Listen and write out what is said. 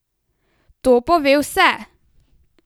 To pove vse!